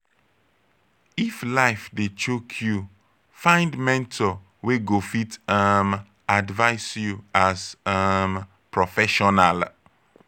if life dey choke yu find mentor wey go fit um advice yu as um professional